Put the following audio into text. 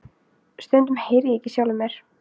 Stundum heyri ég ekki í sjálfum mér.